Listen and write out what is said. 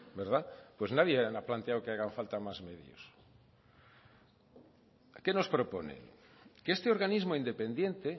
verdad pues nadie ha planteado que hagan falta más medios qué nos proponen que este organismo independiente